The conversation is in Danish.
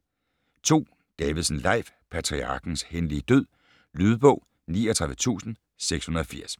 2. Davidsen, Leif: Patriarkens hændelige død Lydbog 39680